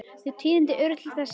Þau tíðindi urðu til þess að